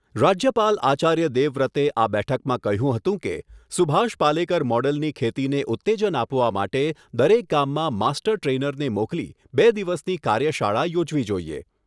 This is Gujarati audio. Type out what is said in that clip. રાજ્યપાલ આચાર્ય દેવ વ્રતે આ બેઠકમાં કહ્યું હતું કે સુભાષ પાલેકર મોડેલની ખેતીને ઉત્તેજન આપવા માટે દરેક ગામડામાં માસ્ટર ટ્રેનરને મોકલી બે દિવસની કાર્યશાળા યોજવી જોઈએ.